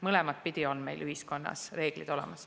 Mõlemat pidi on meil ühiskonnas reeglid olemas.